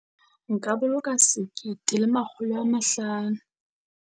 Nka boloka sekete le makgolo a mahlano.